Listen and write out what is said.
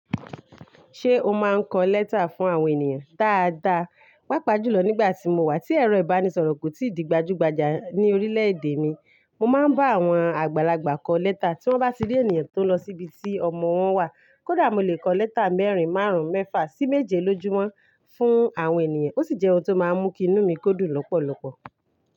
Ṣé o máa ń kọ lẹ́tà fún àwọn ènìyàn? Daadaa, paapaa julo nigba ti mo wa ti ero ibanisoro ko ti di gbajugbaja ni orile ede mi, mo maa n ba awon agbalagba ko leta, ti won ba ti ri eniyan tio nlo sibi ti omo won wa. Kódà mo lè kọ lẹ́tà mẹ́rin, márùn-ún, mẹ́fà sí méje lójúmọ́ fún àwọn ènìyàn. Ó sì jẹ́ ohun tó máa ń mú kí inú mi kó dùn lọ́pọ̀lọpọ̀.